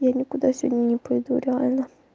я никуда сегодня не пойду реально